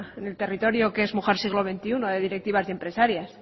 en el territorio que es mujer siglo veintiuno de directivas y empresarias